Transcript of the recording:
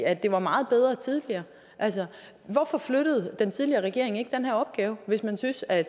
at det var meget bedre tidligere hvorfor flyttede den tidligere regering ikke den her opgave hvis man syntes at